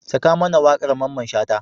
Saka mana waƙar Mamman Shata.